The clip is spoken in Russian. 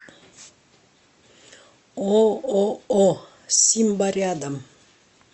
ооо симба рядом